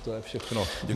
To je všechno.